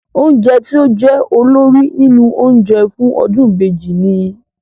Oúnjẹ tí ó jẹ́ olórí nínú oúnjẹ fún ọdún ìbejì ni?